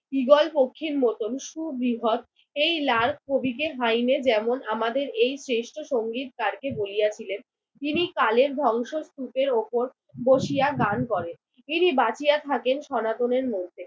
Eagle পক্ষীর মতন সুবৃহৎ এই লাল কবিকে হাইনে যেমন আমাদের এই শ্রেষ্ঠ সংগীকারকে বলিয়াছিলেন তিনি কালের ধংসস্তূপের উপর বসিয়া গান করেন। তিনি বাঁচিয়া থাকেন সনাতনের মধ্যে।